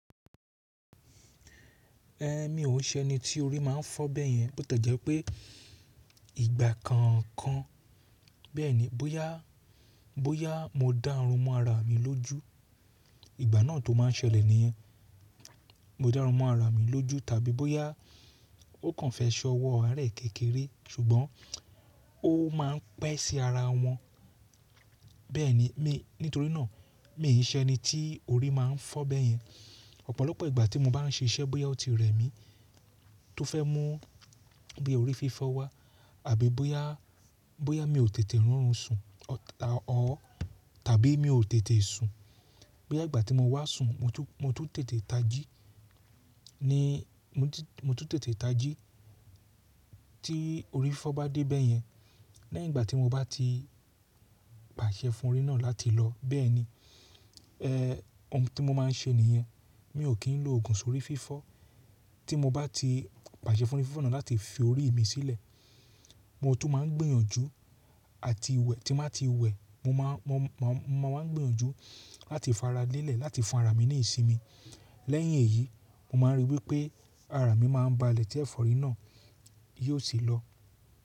Èmi ò ṣe ẹni tí orí máa ń fọ́ bẹ́yẹn, bó tiẹ́ jẹ́ pé ìgbà kọ̀ọ̀kan bẹ́ẹ̀ni bóyá, bóyá mo dán òrun mọ́ ara mi lójú ìgbà náà tó máa ń ṣẹlẹ̀ nìyẹn. Mo dá runmọ ara mi lójú tàbí bóyá ó kàn fẹ́ ṣọwọ́ aarẹ̀ kékeré ṣùgbọ́n ó máa ń pẹ́ sí ara wọn, bẹ́ẹ̀ni, nítorí náà mi ò ṣe ẹni tí orí máa ń fọ́ bẹ́yẹn. Ọ̀pọ̀lọpọ̀ ìgbà tí mo bá ń ṣe iṣẹ́ bóyá ó ti rẹ̀ mí tó fẹ́ mú bí i orí fífọ́ wá àbí bóyá, bóyá mi ò tètè rọrùn sùn or ta-- or tàbí mi ò tètè sùn, bóyá ìgbà tí mo wá sun sùn mo tún, mo tún tètè tají ní mo tún, mo tún tètè tají tí orí fifọ́ bá dé bẹ́yẹn. Lẹ́yìn ìgbà tí mo bá ti pàṣẹ fún orí náà láti lọ bẹ́ẹ̀ni, oun ti mo máa ń ṣe nìyẹn mi ò kí ń lo òògùn sórí fífọ́ tí mo bá ti pàṣẹ fún orí fífọ́ náà láti fi orí mi sílẹ̀. Mo tún máa ń gbìyànjú àti wẹ̀ tí n bá ti wẹ̀ mo máa, mo máa, mo máa ń gbìyànjú láti faralẹ́lẹ̀ láti fún ara mi ní ìsinmi. Lẹ́yìn èyí mo máa ń rí wí pé ara mi máa ń ba lẹ̀ tí ẹ̀fọ́rí náà yóò sì lọ.